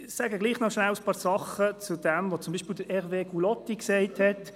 Ich sage trotzdem noch ein paar Dinge zu dem, was beispielsweise Hervé Gullotti gesagt hat.